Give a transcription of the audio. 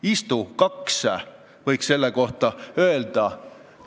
"Istu, kaks," võiks selle kohta öelda.